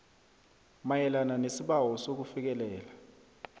mayelana nesibawo sokufikelela